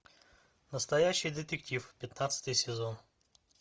настоящий детектив пятнадцатый сезон